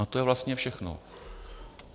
A to je vlastně všechno.